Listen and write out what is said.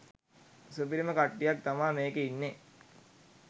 සුපිරිම කට්ටියක් තමා මේකෙ ඉන්නෙ.